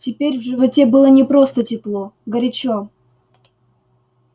теперь в животе было не просто тепло горячо